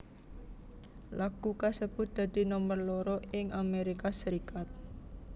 Lagu kasebut dadi nomer loro ing Amérika Serikat